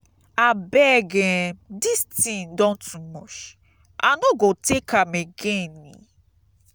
abeg um dis thing don too muchi no go take am again.